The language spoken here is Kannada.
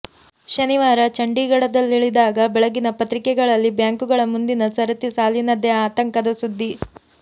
ಶನಿವಾರ ಚಂಡೀಗಢದಲ್ಲಿಳಿದಾಗ ಬೆಳಗಿನ ಪತ್ರಿಕೆಗಳಲ್ಲಿ ಬ್ಯಾಂಕುಗಳ ಮುಂದಿನ ಸರತಿ ಸಾಲಿನದ್ದೇ ಆತಂಕದ ಸುದ್ದಿ